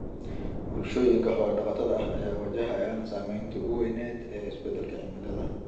Bulshooyinka xoolo-dhaqatada ah ayaa wajahaya saameynta ugu weyn ee isbedelka cimilada.